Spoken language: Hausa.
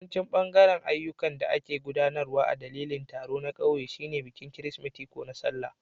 Wani bangare na ayyukan da ake gudanarwa a ɗandalin taro na kauye shine bikin Kirsimeti ko na Sallah.